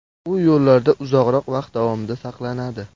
U yo‘llarda uzoqroq vaqt davomida saqlanadi.